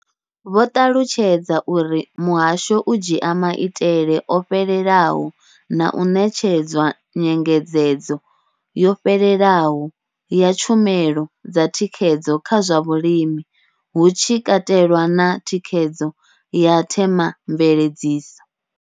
Vho ṱalutshedza uri muhasho u dzhia maitele o fhelelaho na u ṋetshedza nyengedzedzo yo fhelelaho ya tshumelo dza thikhedzo kha zwa vhulimi, hu tshi katelwa na thikhedzo ya themamveledziso.